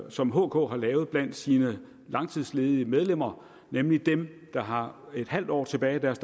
som hk har lavet blandt sine langtidsledige medlemmer nemlig dem der har en halv år tilbage af deres